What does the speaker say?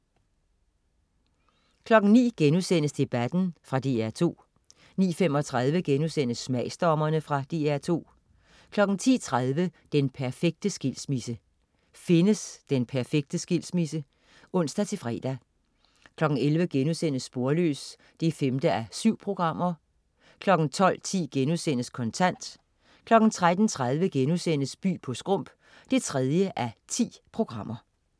09.00 Debatten.* Fra DR2 09.35 Smagsdommerne.* Fra DR2 10.30 Den perfekte skilsmisse. Findes den perfekte skilsmisse? (ons-fre) 11.00 Sporløs 5:7* 12.10 Kontant* 13.30 By på Skrump 3:10*